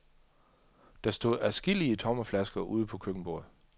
Der stod adskillige tomme flasker ude på køkkenbordet.